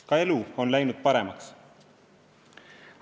Ka elu on läinud paremaks.